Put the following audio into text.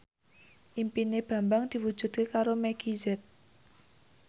impine Bambang diwujudke karo Meggie Z